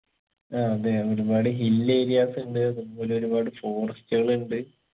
ആ അതെ ഒരുപാട് hill areas ഉണ്ട് പിന്നൊരു ഒരുപാട് forest കളുണ്ട്